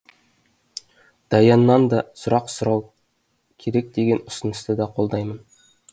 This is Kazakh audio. даяннан да сұрақ сұрау керек деген ұсынысты да қолдаймын